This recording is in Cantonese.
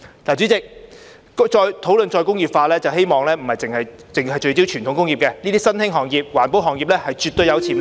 主席，討論再工業化時，我希望不單聚焦傳統工業，這些新興行業、環保行業是絕對具潛力的......